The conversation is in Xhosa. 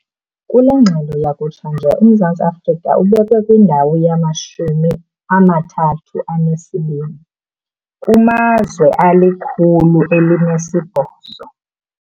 Kule ngxelo yakutshanje uMzantsi Afrika ubekwe kwindawo yama-32 kumazwe ali-180.